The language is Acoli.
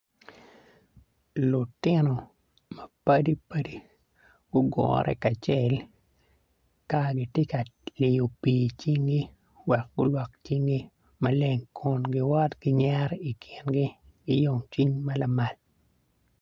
Lutino mapadipadi gugure kacel ka gitye ka liyo pii i cingi wek gulwok cingi maleng kun giwoto ki nyero i kingi ki yomcwiny ma lamal.